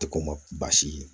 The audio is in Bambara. Tɛ ko ma baasi ye